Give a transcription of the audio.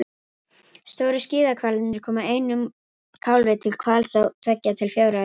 Stóru skíðishvalirnir koma einum kálfi til hvals á tveggja til fjögurra ára fresti.